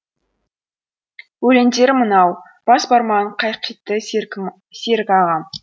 өлеңдері мынау бас бармағын қайқитты серік ағам